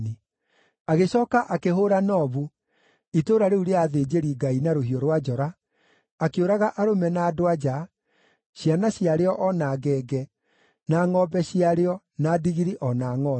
Agĩcooka akĩhũũra Nobu, itũũra rĩu rĩa athĩnjĩri-Ngai, na rũhiũ rwa njora, akĩũraga arũme na andũ-a-nja, ciana ciarĩo o na ngenge, na ngʼombe ciarĩo, na ndigiri o na ngʼondu.